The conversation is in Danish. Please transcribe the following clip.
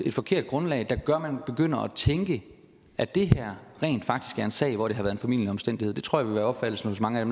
et forkert grundlag der gør at man begynder at tænke at det her rent faktisk er en sag hvor det har været en formildende omstændighed det tror jeg vil være opfattelsen hos mange af